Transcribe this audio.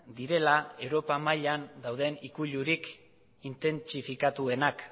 direla europa mailan dauden ikuilurik intentsifikatuenak